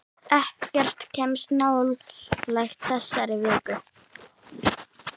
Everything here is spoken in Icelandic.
Ekkert kemst nálægt þessari viku.